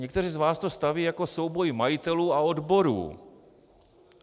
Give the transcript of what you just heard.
Někteří z vás to staví jako souboj majitelů a odborů.